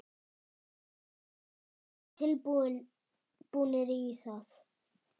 Eruð þið tilbúnir í það?